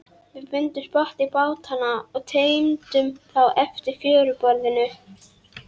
Svona leynist margt í lífríki kirkjugarðsins ef að er gáð.